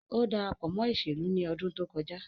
O darapo mo iselu ni odun to koja